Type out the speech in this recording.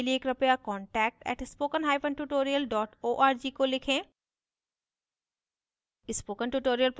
अधिक जानकारी के लिए कृपया contact @spokentutorial org को लिखें